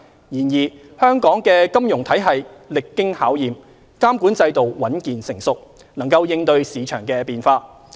然而，香港的金融體系歷經考驗，監管制度穩健成熟，能應對市場變化。